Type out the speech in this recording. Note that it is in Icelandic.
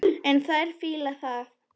En þær fíla það.